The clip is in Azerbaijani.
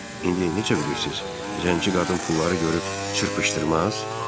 İndi necə bilirsiz, zəngi qadın pulları görüb çırpışdırmaz?